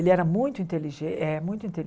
Ele era muito inteligente. É muito